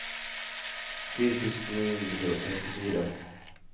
fire tusen ni hundre og trettifire